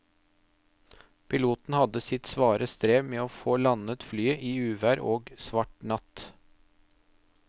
Piloten hadde sitt svare strev med å få landet flyet i uvær og svart natt.